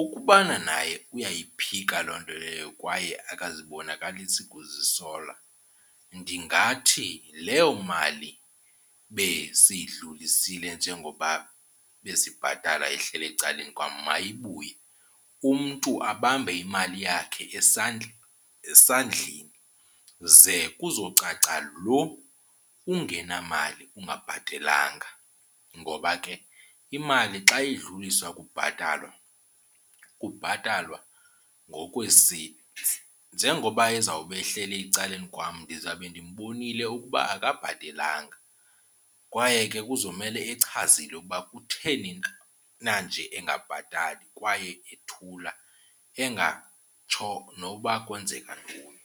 ukubana naye uyayiphika loo nto leyo kwaye akazibonakalisi kuzisola ndingathi leyo mali besiyidlulisile njengoba besibhatala ehleli ecaleni kwam mayibuye umntu abambe imali yakhe esandleni ze kuzocaca lo ungenamali ungabhatelanga. Ngoba ke imali xa idlulisiwe kubhatalwa kubhatalwa ngokwee-seats. Njengoba ezawube ehleli ecaleni kwam ndizawube ndimbonile ukuba akabhatelanga kwaye ke kuzomele echazile ukuba kutheni na nje engabhatali kwaye ethula engatsho noba kwenzeka ntoni.